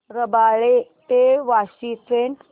रबाळे ते वाशी ट्रेन